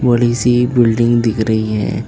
बड़ी सी बिल्डिंग दिख रही है।